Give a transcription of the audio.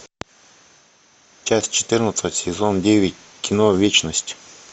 часть четырнадцать сезон девять кино вечность